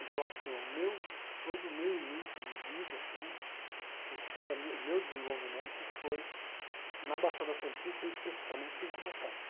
Então assim, o meu todo o meu início de vida assim e toda a minha o meu desenvolvimento foi na Baixada Santista e especificamente em Cubatão.